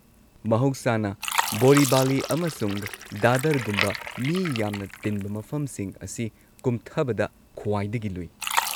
ꯃꯍꯧꯁꯥꯅ, ꯕꯣꯔꯤꯚꯂꯤ ꯑꯃꯁꯨꯡ ꯗꯥꯗꯔꯒꯨꯝꯕ ꯃꯤ ꯌꯥꯝꯅ ꯇꯤꯟꯕ ꯃꯐꯝꯁꯤꯡ ꯑꯁꯤ ꯀꯨꯝꯊꯕꯗ ꯈ꯭ꯋꯥꯏꯗꯒꯤ ꯂꯨꯏ꯫